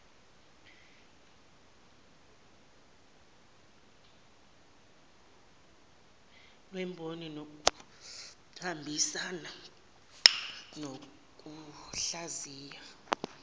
lwemboni luyahambisana nokuhlaziya